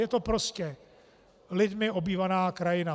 Je to prostě lidmi obývaná krajina.